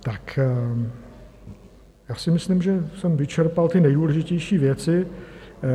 Tak já si myslím, že jsem vyčerpal ty nejdůležitější věci.